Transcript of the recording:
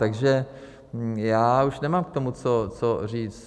Takže já už nemám k tomu co říct.